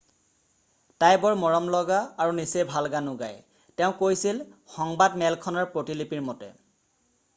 """তাই বৰ মৰমলগা আৰু নিচেই ভাল গানো গায়" তেওঁ কৈছিল সংবাদমেলখনৰ প্ৰতিলিপিৰ মতে।""